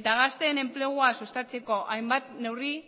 eta gazteen enplegua sustatzeko hainbat neurri